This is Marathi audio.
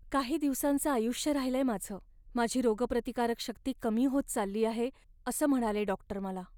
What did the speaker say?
काही दिवसाचं आयुष्य राहिलंय माझं. माझी रोगप्रतिकारक शक्ती कमी होत चालली आहे असं म्हणाले डॉक्टर मला.